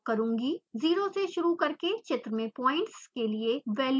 0 से शुरू करके चित्र में पॉइंट्स के लिए वैल्यूज़ प्रविष्ट करें